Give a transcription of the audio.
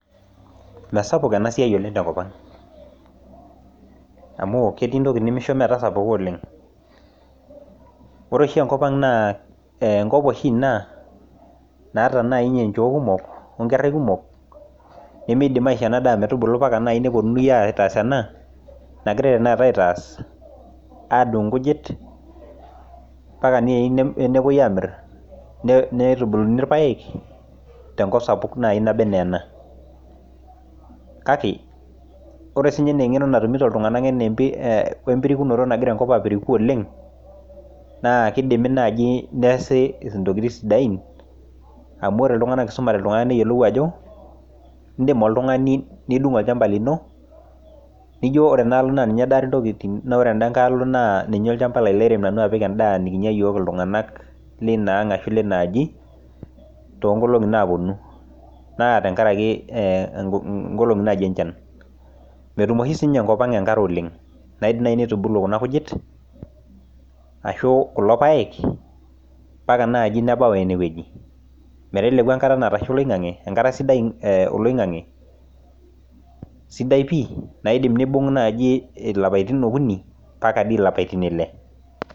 mesapuk enasiai oleng' tenkopang' amu ketii intokitin nimisho metasapuka, ore oshi enkopang' naa enkop ina naata oshi nchoo kumok onkerai kumok, nimidim aishoo ena daa metubulu ombaka naaji nepuonini aitaas ena adung' inkujit ambaka naaji nepuoi amir , nitubuluni ilpayek tenkop sapuk naaji naba enaa ena wesininye eng'eno nagira iltung'anak atum wembirikinoto nagira enkop apiriku, naa kidimi naaji neesi intokitin sidain amu ore iltung'anak esumate neyiolou ajo, idim oltung'ani nidung' olchamba lino nijo ore enaalo naa ninye edare intokitin ore enada ngae naa ninye olchamba lairem apik edaa nikinya iyiok iltung'anak leinaang' ashu leina aji, too nkolong'i naapuonu naa inkolong'i naaji enchan, metum oshi sii ninye enkopang' enkare oleng' kelo naaaji nitubulu kuna kujit ashu kulo payek ompaka naaji nebau eneweji, meteleku engata sidai olaing'ang'e ashuu enkata sidai pii naidim naaji nibung' ilapaitin imiet ampaka ilapaitin ile.